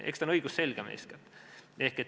Eks see ole eeskätt õigusselgem.